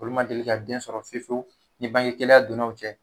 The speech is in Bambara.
Olu ma deli ka den sɔrɔ fiyewu fiyewu ni bange gɛlɛya donn'aw cɛ.